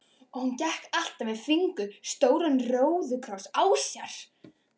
Og hann gekk alltaf með fingur stóran róðukross á sér.